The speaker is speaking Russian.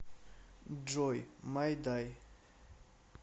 джой майдай